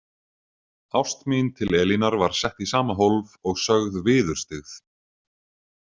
Ást mín til Elínar var sett í sama hólf og sögð viðurstyggð.